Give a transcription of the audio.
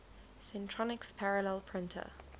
centronics parallel printer